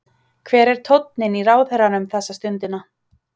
Hver er tónninn í ráðherranum þessa stundina?